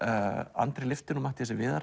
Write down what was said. Andri lyfti Matthíasi Viðari